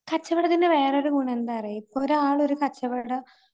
കച്ചവടത്തിന്റെ വേറൊരു ഗുണന്താന്നറിയ് ഇപ്പോരാള് ഒരു കച്ചവട